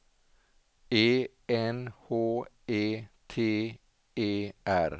E N H E T E R